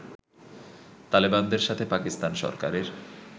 তালেবানদের সাথে পাকিস্তান সরকারের